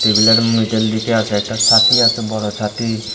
মিঠের লিগ্যা আছে একটা ছাতি আছে বড় ছাতি ।